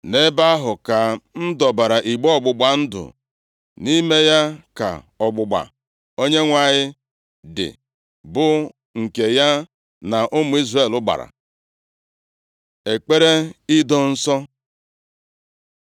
Nʼebe ahụ ka m dọbara igbe ọgbụgba ndụ, nʼime ya ka ọgbụgba Onyenwe anyị dị, bụ nke ya na ụmụ Izrel gbara.” Ekpere Ido Nsọ